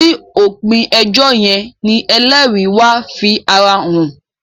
ni opin ejó yén ní ẹlẹri wá fí àrà hàn